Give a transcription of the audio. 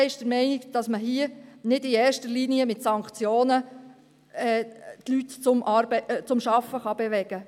Die EVP ist der Meinung, man könne hier die Leute nicht in erster Linie mit Sanktionen zum Arbeiten bewegen.